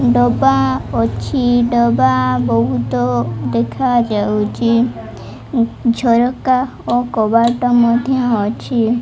ଡବା ଅଛି ଡବା ବହୁତ ଦେଖାଯାଉଚି ଝରକା ଓ କବାଟ ମଧ୍ୟ ଅଛି।